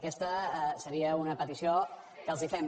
aquesta seria una petició que els fem